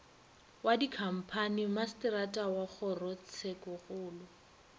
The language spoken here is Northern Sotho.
wa dikhamphani masetara wa kgorotshekokgolo